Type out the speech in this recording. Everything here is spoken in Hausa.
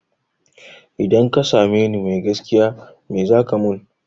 Idan ka same ni mai gaskiya me zaka mun?